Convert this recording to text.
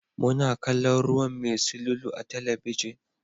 Muna kallon ruwan mai silulu a talabijin.